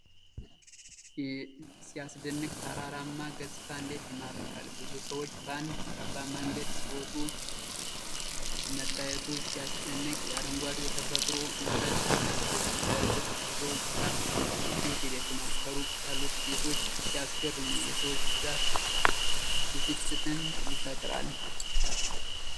ሲያስደንቅ! ተራራማው ገፅታ እንዴት ይማርካል! ብዙ ሰዎች በአንድ ጠባብ መንገድ ሲወጡ መታየቱ ሲያስጨንቅ! የአረንጓዴው ተፈጥሮ ውበት ሲያስደስት! በእርግጥ የጉዞው ድካም እንዴት ይደክማል! ከሩቅ ያሉት ቤቶች ሲያስገርሙ! የሰዎች ብዛት ብስጭትን ይፈጥራል!